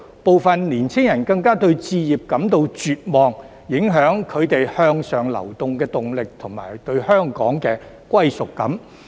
部分青年人更對置業感到絕望，影響他們向上流的動力及對香港的歸屬感。